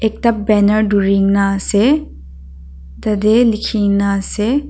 ekta banner dhurina ase tatae likhinaase.